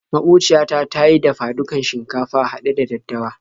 Maƙociya ta ta yi dafa-dukan shinkafa haɗe da daddawa.